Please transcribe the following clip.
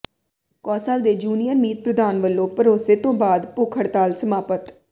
ਕੌ ਾਸਲ ਦੇ ਜੂਨੀਅਰ ਮੀਤ ਪ੍ਰਧਾਨ ਵਲੋਂ ਭਰੋਸੇ ਤੋਂ ਬਾਅਦ ਭੁੱਖ ਹੜਤਾਲ ਸਮਾਪਤ